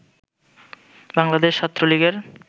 বাংলাদেশ ছাত্রলীগের